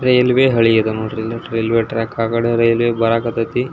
Railway ಹಳೆ ಇದೆ ನೋಡ್ರಿ ರೈಲ್ವೆ ಟ್ರ್ಯಾಕ್ ಆಗಲೇ ರೈಲ್ ಬರಕತತೆ.